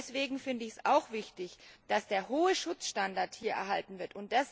Deswegen finde ich es auch wichtig, dass der hohe Schutzstandard hier erhalten wird.